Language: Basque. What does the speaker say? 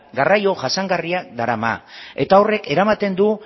garraio jasangarria darama eta horrek eramaten du